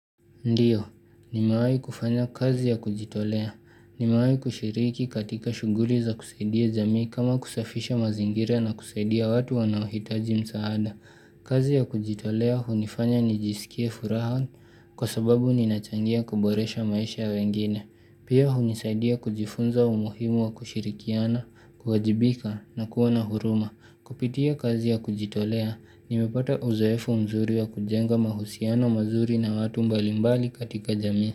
Ndiyo, nimewahi kufanya kazi ya kujitolea. Nimewahi kushiriki katika shuguli za kusaidia jamii kama kusafisha mazingira na kusaidia watu wanaohitaji msaada. Kazi ya kujitolea hunifanya nijisikie furaha kwa sababu ninachangia kuboresha maisha wengine. Pia hunisaidia kujifunza umuhimu wa kushirikiana, kuwajibika na kuwa na huruma. Kupitia kazi ya kujitolea, nimepata uzoefu mzuri wa kujenga mahusiano mazuri na watu mbalimbali katika jami.